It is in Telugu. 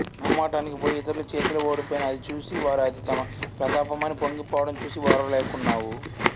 మొహమాటానికి పోయి ఇతరుల చేతిలో ఓడిపోయిన అదిచూసి వారు అది తమ ప్రతాపమని పొంగిపోవడం చూసి ఓర్వలేకున్నావు